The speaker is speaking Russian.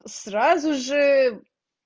сразу же